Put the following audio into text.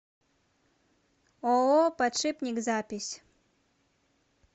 ооо подшипник запись